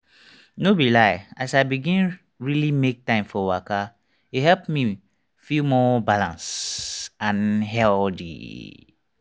no be lie as i begin really make time for waka e help me feel more balanced and healthy.